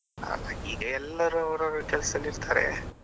ಅಲ ಈಗ ಎಲ್ಲರು ಅವ್ರ ಅವ್ರ ಕೆಲಸದಲ್ಲಿ ಇರ್ತಾರೆ.